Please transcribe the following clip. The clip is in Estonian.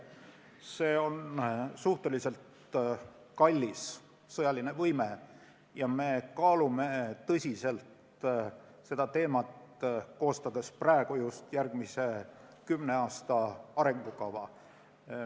See on suhteliselt kallis sõjaline võime ja me kaalume seda tõsiselt, koostades just praegu järgmise kümne aasta arengukava.